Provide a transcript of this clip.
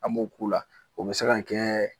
An b'o k'u la o be se ga kɛɛ